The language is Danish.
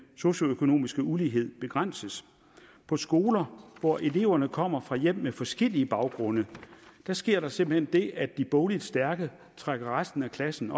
socioøkonomiske ulighed begrænses på skoler hvor eleverne kommer fra hjem med forskellige baggrunde sker der simpelt hen det at de bogligt stærke trækker resten af klassen